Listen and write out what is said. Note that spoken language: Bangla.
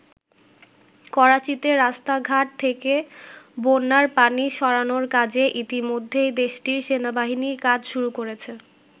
করাচীতে রাস্তাঘাট থেকে বন্যার পানি সরানোর কাজে ইতিমধ্যেই দেশটির সেনাবাহিনী কাজ শুরু করেছে।